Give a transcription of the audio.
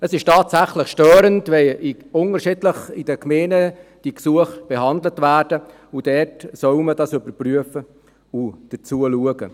Es ist tatsächlich störend, wenn diese Gesuche in den Gemeinden unterschiedlich behandelt werden, und dann soll man dies überprüfen und anschauen.